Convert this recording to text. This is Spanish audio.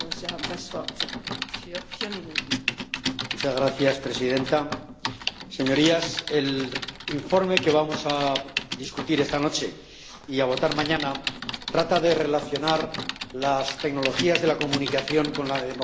Señora presidenta, señorías, el informe que vamos a discutir esta noche, y a votar mañana, trata de relacionar las tecnologías de la comunicación con la democracia.